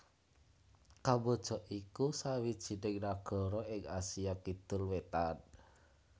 Kamboja iku sawijining nagara ing Asia Kidul Wétan